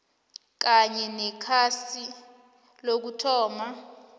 kanye nekhasi lokuthoma